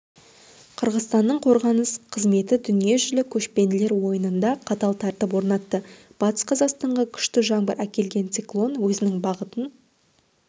қырғызстанның қорғаныс қызметі дүниежүзілік көшпенділер ойынында қатал тәртіп орнатты батыс-қазақстанға күшті жаңбыр әкелген циклон өзінің бағытын